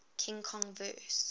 king kong vs